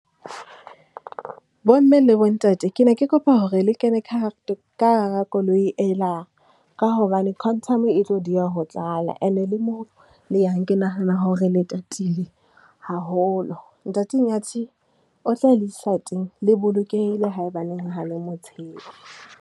Bo mme le bo ntate, ke ne ke kopa hore le kene ka ka hara koloi ela, ka hobane Quantum e tlo dieha ho tlala ene le moo le yang, ke nahana hore le tatile haholo. Ntate Nyathi o tla le isa teng, le bolokehile ha e baneng ha le mo tshepe.